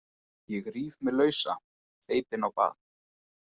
Ég ríf mig lausa, hleyp inn á bað.